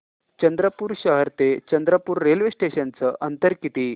चंद्रपूर शहर ते चंद्रपुर रेल्वे स्टेशनचं अंतर किती